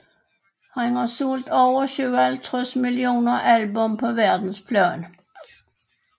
Han har solgt over 57 millioner albummer på verdensplan